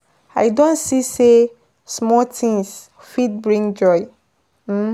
I don see sey small things fit bring big joy. um